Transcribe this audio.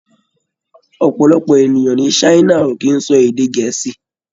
Ọ̀̀pọ̀lọpọ̀ ènìyàn ní China ò kì í sọ èdè Gẹ̀ẹ́sì.